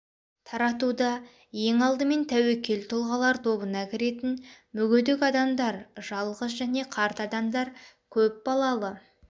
таратуда ең алдымен тәуекел тұлғалар тобына кіретін мүгедек адамдар жалғыз және қарт адамдар көп балалы